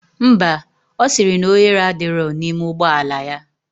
Ḿbà. osiri na ohere adiro na ime ụgbọla ya.